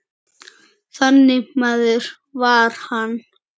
Þannig maður var hann.